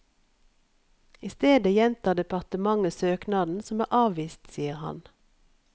I stedet gjentar departementet søknaden som er avvist, sier han.